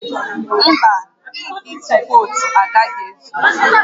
Mba, ink ịtụ vootu agaghị ezu